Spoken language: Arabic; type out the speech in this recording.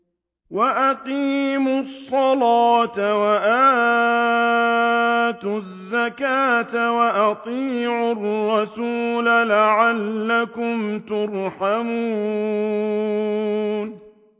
وَأَقِيمُوا الصَّلَاةَ وَآتُوا الزَّكَاةَ وَأَطِيعُوا الرَّسُولَ لَعَلَّكُمْ تُرْحَمُونَ